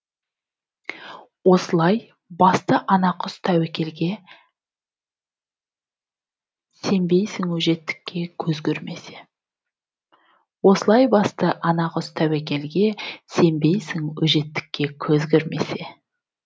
осылай басты ана құс тәуекелге сенбейсің өжеттікке көз көрмесе